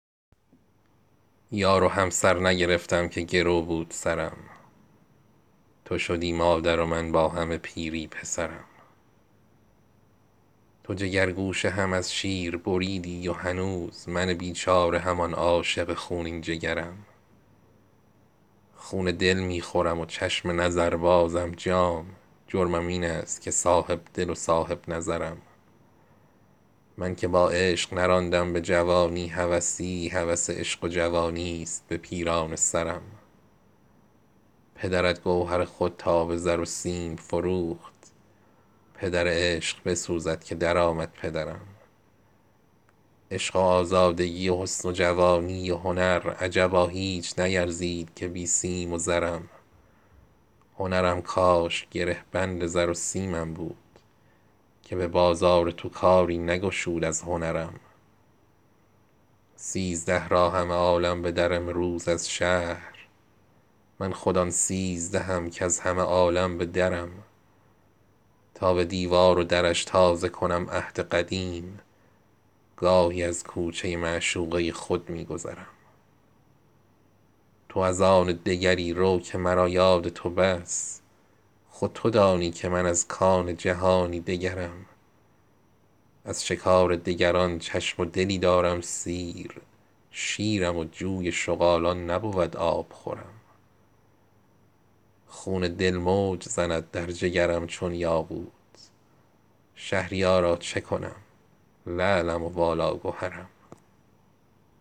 یار و همسر نگرفتم که گرو بود سرم تو شدی مادر و من با همه پیری پسرم تو جگرگوشه هم از شیر بریدی و هنوز من بیچاره همان عاشق خونین جگرم خون دل می خورم و چشم نظر بازم جام جرمم این است که صاحب دل و صاحب نظرم من که با عشق نراندم به جوانی هوسی هوس عشق و جوانیست به پیرانه سرم پدرت گوهر خود را به زر و سیم فروخت پدر عشق بسوزد که در آمد پدرم عشق و آزادگی و حسن و جوانی و هنر عجبا هیچ نیرزید که بی سیم و زرم هنرم کاش گره بند زر و سیمم بود که به بازار تو کاری نگشود از هنرم سیزده را همه عالم به در آیند از شهر من خود آن سیزدهم کز همه عالم به درم تا به دیوار و درش تازه کنم عهد قدیم گاهی از کوچه معشوقه خود می گذرم تو از آن دگری رو که مرا یاد تو بس خود تو دانی که من از کان جهانی دگرم از شکار دگران چشم و دلی دارم سیر شیرم و جوی شغالان نبود آبخورم خون دل موج زند در جگرم چون یاقوت شهریارا چه کنم لعلم و والا گهرم